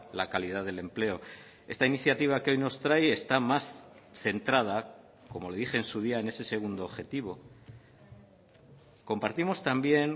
la calidad del empleo esta iniciativa que hoy nos trae está más centrada como le dije en su día en ese segundo objetivo compartimos también